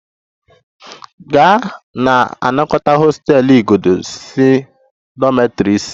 Gaa na-anakọta hostel igodo si dormitory isi!